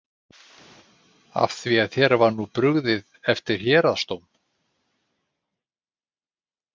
Af því þér var nú brugðið eftir héraðsdóm?